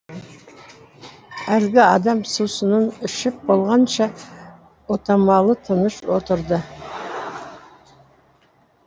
әлгі адам сусынын ішіп болғанша отамалы тыныш отырды